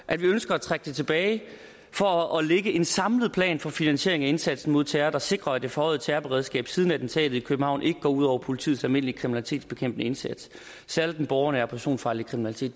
at vi ønsker at trække det tilbage for at lægge en samlet plan for finansiering af indsatsen mod terror der sikrer at det forhøjede terrorberedskab siden attentatet i københavn ikke går ud over politiets almindelige kriminalitetsbekæmpende indsats særlig den borgernære personfarlige kriminalitet